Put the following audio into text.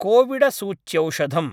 कोविडसूच्यौषधम्